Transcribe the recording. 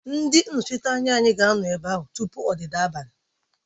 Ndị nnọchiteanya anyị ga-anọ ebe a tupu ọdịda abalị